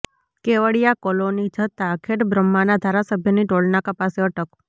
Kevadia colony જતા ખેડબ્રહ્માના ધારાસભ્યની ટોલનાકા પાસે અટક